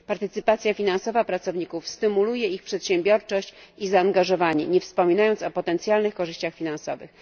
Udział finansowy pracowników stymuluje ich przedsiębiorczość i zaangażowanie, nie wspominając o potencjalnych korzyściach finansowych.